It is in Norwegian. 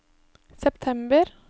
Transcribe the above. september